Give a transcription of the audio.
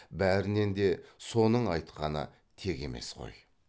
бәрінен де соның айтқаны тек емес қой